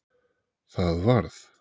Það varð